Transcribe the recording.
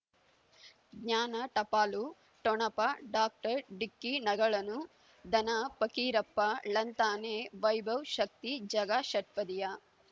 ಜ್ಞಾನ ಟಪಾಲು ಠೊಣಪ ಡಾಕ್ಟರ್ ಢಿಕ್ಕಿ ಣಗಳನು ಧನ ಪಕೀರಪ್ಪ ಳಂತಾನೆ ವೈಭವ್ ಶಕ್ತಿ ಝಗಾ ಷಟ್ಪದಿಯ